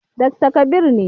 Dakta Kabir ne.